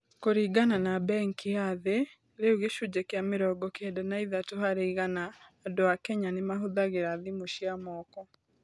Kũringana na Benki ya Thĩ, rĩu gĩcunjĩ kĩa mĩrongo kenda na ithatũ harĩ igana andũ a Kenya nĩ mahũthagĩra thimũ cia moko.